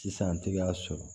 Sisan an tɛ k'a sɔrɔ